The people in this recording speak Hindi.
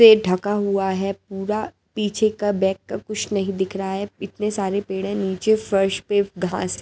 से ढका हुआ है पूरा पीछे का बैक का कुछ नहीं दिख रहा है इतने सारे पेड़ है नीचे फर्श पे घास--